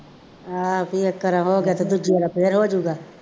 ਹਾਂ ਕੋਈ ਇੱਕ ਕੇਰਾਂ ਹੋ ਗਿਆ ਅਤੇ ਦੂਜੀ ਕੇਰਾਂ ਫੇਰ ਹੋ ਜਾਊਗਾ।